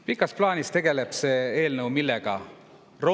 Millega tegeleb see eelnõu pikas plaanis?